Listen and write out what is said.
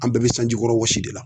An bɛɛ be sanji kɔrɔ wɔsi de la